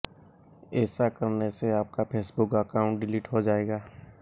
ऐसा करने से आपका फेसबुक अकाउंट डिलीट हो जाएगा